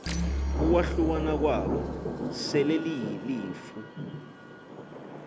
ukwahlukana kwabo selelilifu